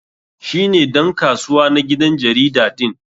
Shi ne dan kasuwa na gidan jarida din.